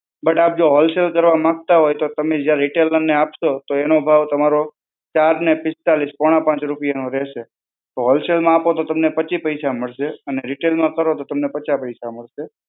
But આપ જો wholesale કરવા માંગતા હોય તો તમે જે રિટેલરને આપશો, તો એનો ભાવ તમારો ચાર ને પિસ્તાલીસ પોણા પાંચ રૂપિયા નો રહેશે. હોલસેલ માં આપો તો તમને પચીસ પૈસા મળશે અને રિટેલમાં કરો તો તમને પચાસ પૈસા મળશે.